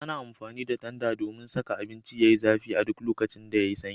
Ana amfani da tanda domin saka abinci Yayi zafi a duk lokacin da yayi sanyi